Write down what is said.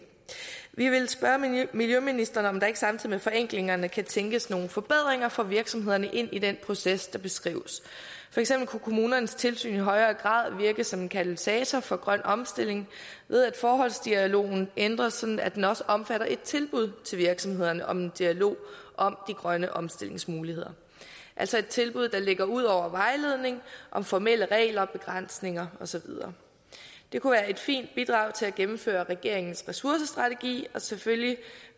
vi vil spørge miljøministeren om der ikke samtidig med forenklingerne kan tænkes nogle forbedringer for virksomhederne ind i den proces der beskrives for eksempel kunne kommunernes tilsyn i højere grad virke som en katalysator for grøn omstilling ved at forholdsdialogen ændres sådan at den også omfatter et tilbud til virksomhederne om en dialog om de grønne omstillingsmuligheder altså et tilbud der ligger ud over vejledning om formelle regler og begrænsninger og så videre det kunne være et fint bidrag til at gennemføre regeringens ressourcestrategi og selvfølgelig